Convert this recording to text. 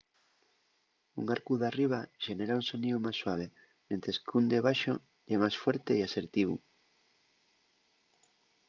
un arcu d’arriba xenera un soníu más suave mientres qu’ún de baxo ye más fuerte y asertivu